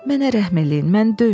"Mənə rəhm eləyin, məni döyməyin.